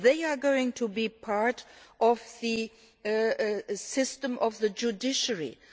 They are going to be part of the judicial system.